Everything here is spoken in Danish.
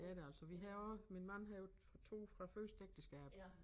Det er det altså vi har også min mand har jo fra 2 fra første ægteskab